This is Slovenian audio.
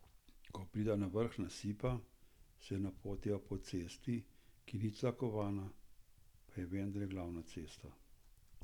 Ko prideva na vrh nasipa, se napotiva po cesti, ki ni tlakovana, pa je vendarle glavna cesta.